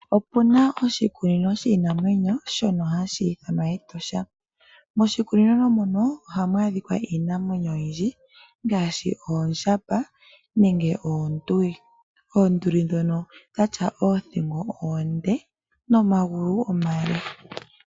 Opu na oshikunino shiinamwenyo shono hashi ithanwa Etosha National Park . Moshikunino muno ohamu adhikwa iinamwenyo oyindji ngaashi oondjamba nenge oonduli. Oonduli ndhono odhatya oothingo oonde nomagulu omale .